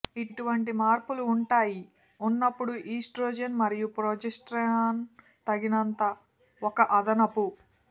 ఇటువంటి మార్పులు ఉంటాయి ఉన్నప్పుడు ఈస్ట్రోజెన్ మరియు ప్రొజెస్టెరాన్ తగినంత ఒక అదనపు